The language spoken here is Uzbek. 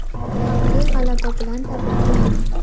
Haqli g‘alaba bilan tabriklayman.